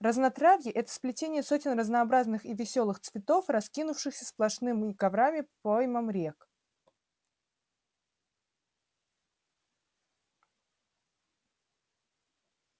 разнотравье это сплетение сотен разнообразных и весёлых цветов раскинувшихся сплошными коврами по поймам рек